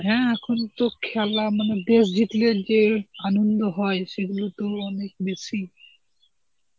হ্যাঁ এখন তো খেলা মানে দেশ জিতলে যে আনন্দ হয় সেগুলো তো অনেক বেশি.